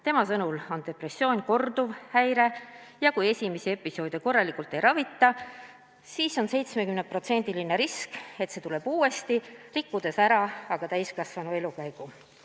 Tema sõnul on depressioon korduv häire ja kui esimesi episoode korralikult ei ravita, siis on 70% risk, et see tuleb tagasi ja rikub ära tulevase täiskasvanu elukäigu.